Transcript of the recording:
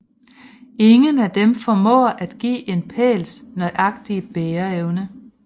Ingen af dem formår at give en pæls nøjagtige bæreevne